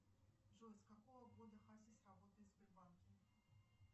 джой с какого года хасис работает в сбербанке